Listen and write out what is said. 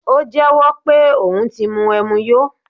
O jẹ́wó̩ pe oun ti mu ẹmu yó